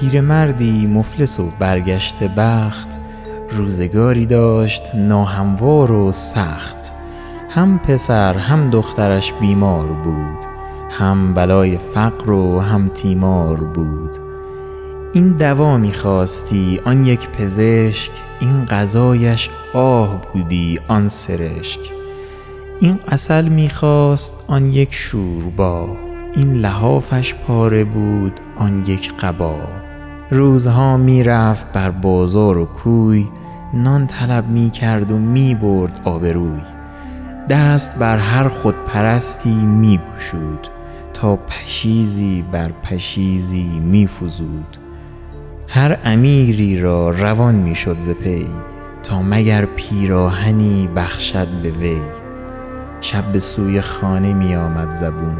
پیرمردی مفلس و برگشته بخت روزگاری داشت ناهموار و سخت هم پسر هم دخترش بیمار بود هم بلای فقر و هم تیمار بود این دوا می خواستی آن یک پزشک این غذایش آه بودی آن سرشک این عسل می خواست آن یک شوربا این لحافش پاره بود آن یک قبا روزها می رفت بر بازار و کوی نان طلب می کرد و می برد آبروی دست بر هر خودپرستی می گشود تا پشیزی بر پشیزی می فزود هر امیری را روان می شد ز پی تا مگر پیراهنی بخشد به وی شب به سوی خانه می آمد زبون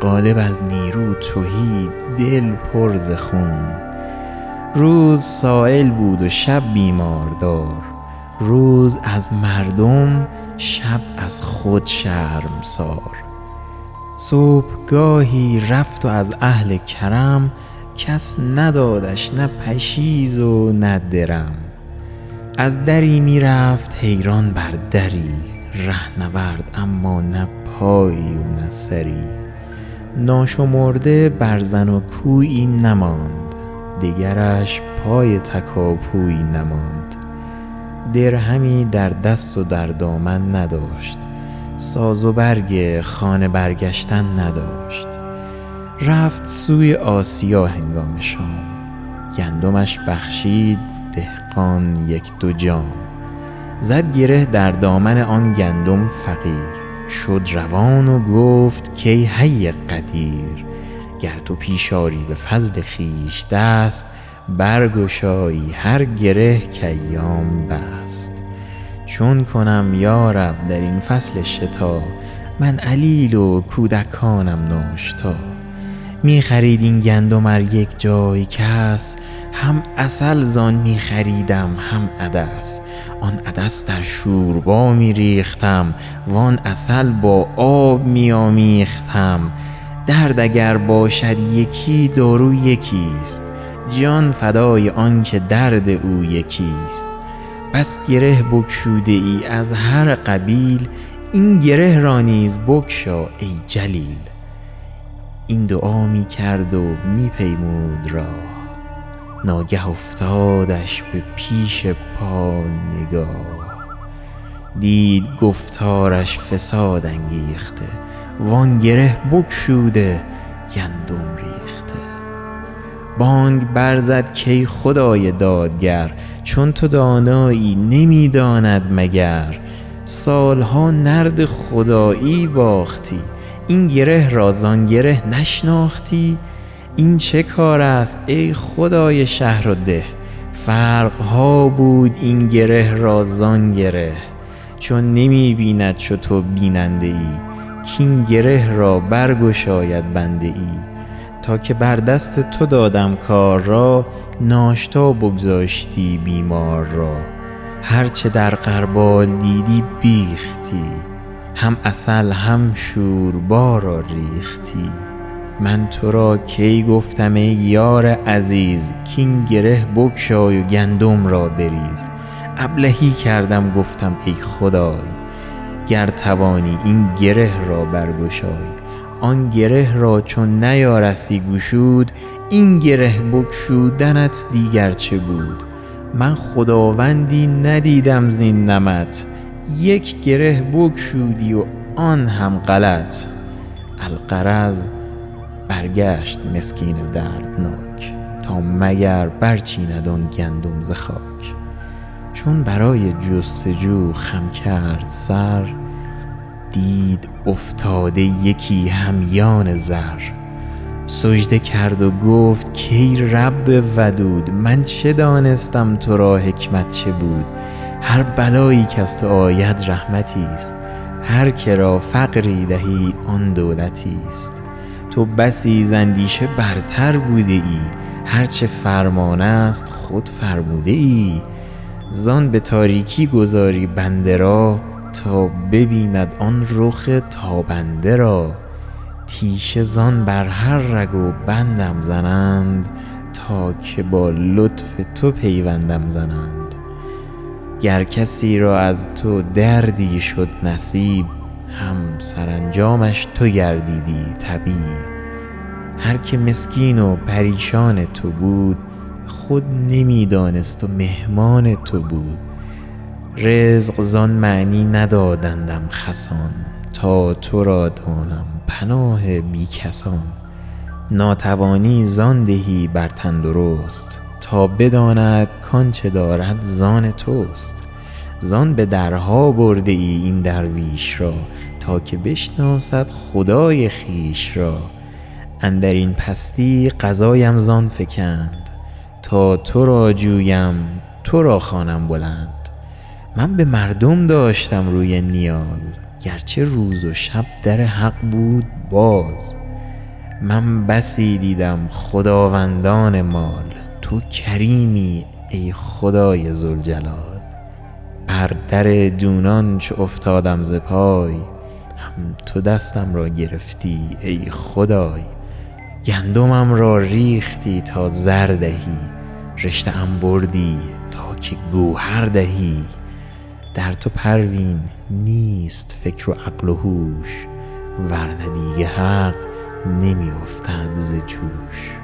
قالب از نیرو تهی دل پر ز خون روز سایل بود و شب بیماردار روز از مردم شب از خود شرمسار صبحگاهی رفت و از اهل کرم کس ندادش نه پشیز و نه درم از دری می رفت حیران بر دری رهنورد اما نه پایی نه سری ناشمرده برزن و کویی نماند دیگرش پای تکاپویی نماند درهمی در دست و در دامن نداشت ساز و برگ خانه برگشتن نداشت رفت سوی آسیا هنگام شام گندمش بخشید دهقان یک دو جام زد گره در دامن آن گندم فقیر شد روان و گفت که ای حی قدیر گر تو پیش آری به فضل خویش دست برگشایی هر گره که ایام بست چون کنم یارب در این فصل شتا من علیل و کودکانم ناشتا می خرید این گندم ار یک جای کس هم عسل زان می خریدم هم عدس آن عدس در شوربا می ریختم وان عسل با آب می آمیختم درد اگر باشد یکی دارو یکی ست جان فدای آن که درد او یکی ست بس گره بگشوده ای از هر قبیل این گره را نیز بگشا ای جلیل این دعا می کرد و می پیمود راه ناگه افتادش به پیش پا نگاه دید گفتارش فساد انگیخته وآن گره بگشوده گندم ریخته بانگ بر زد که ای خدای دادگر چون تو دانایی نمی داند مگر سال ها نرد خدایی باختی این گره را زان گره نشناختی این چه کار است ای خدای شهر و ده فرق ها بود این گره را زان گره چون نمی بیند چو تو بیننده ای کاین گره را برگشاید بنده ای تا که بر دست تو دادم کار را ناشتا بگذاشتی بیمار را هرچه در غربال دیدی بیختی هم عسل هم شوربا را ریختی من تو را کی گفتم ای یار عزیز کاین گره بگشای و گندم را بریز ابلهی کردم که گفتم ای خدای گر توانی این گره را برگشای آن گره را چون نیارستی گشود این گره بگشودنت دیگر چه بود من خداوندی ندیدم زین نمط یک گره بگشودی و آن هم غلط الغرض برگشت مسکین دردناک تا مگر برچیند آن گندم ز خاک چون برای جستجو خم کرد سر دید افتاده یکی همیان زر سجده کرد و گفت کای رب ودود من چه دانستم تو را حکمت چه بود هر بلایی کز تو آید رحمتی است هر که را فقری دهی آن دولتی است تو بسی زاندیشه برتر بوده ای هرچه فرمان است خود فرموده ای زان به تاریکی گذاری بنده را تا ببیند آن رخ تابنده را تیشه زان بر هر رگ و بندم زنند تا که با لطف تو پیوندم زنند گر کسی را از تو دردی شد نصیب هم سرانجامش تو گردیدی طبیب هر که مسکین و پریشان تو بود خود نمی دانست و مهمان تو بود رزق زان معنی ندادندم خسان تا تو را دانم پناه بی کسان ناتوانی زان دهی بر تندرست تا بداند کآنچه دارد زان توست زان به درها بردی این درویش را تا که بشناسد خدای خویش را اندرین پستی قضایم زان فکند تا تو را جویم تو را خوانم بلند من به مردم داشتم روی نیاز گرچه روز و شب در حق بود باز من بسی دیدم خداوندان مال تو کریمی ای خدای ذوالجلال بر در دونان چو افتادم ز پای هم تو دستم را گرفتی ای خدای گندمم را ریختی تا زر دهی رشته ام بردی که تا گوهر دهی در تو پروین نیست فکر و عقل و هوش ورنه دیگ حق نمی افتد ز جوش